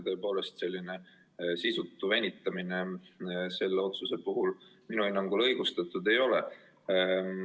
Tõepoolest, selline sisutu venitamine selle otsuse puhul minu hinnangul õigustatud ei ole.